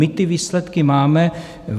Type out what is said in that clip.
My ty výsledky máme.